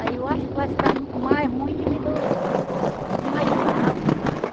Aí eu acho que vai ficar mais ruim de vir do os marginal, né?